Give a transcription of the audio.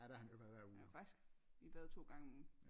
Han er faktisk i bad to gange om ugen